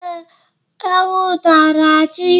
Ee, ewu tara ji.